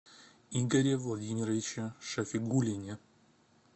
игоре владимировиче шафигуллине